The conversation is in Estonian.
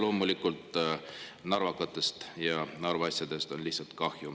Loomulikult narvakatest ja Narva asjadest on lihtsalt kahju.